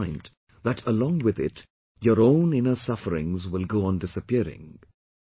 You will find that along with it your own inner sufferings will go on disappearing